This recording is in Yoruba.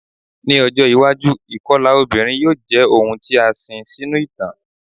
Ni ojo iwaju ikọla obinrin yoo jẹ ohun ti a sin sinu itan